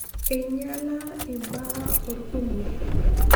Einyiala imbaaa orkumok.